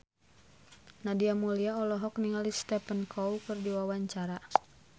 Nadia Mulya olohok ningali Stephen Chow keur diwawancara